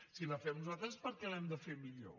si la fem nosaltres és perquè l’hem de fer millor